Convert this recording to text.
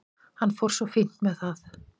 Hann fór svo fínt með það.